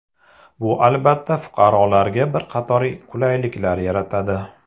Bu albatta, fuqarolarga bir qator qulayliklar yaratadi.